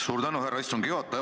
Suur tänu, härra istungi juhataja!